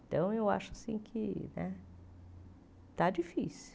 Então, eu acho assim que né está difícil.